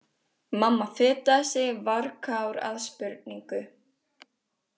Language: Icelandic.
Mamma fetaði sig varkár að spurningu.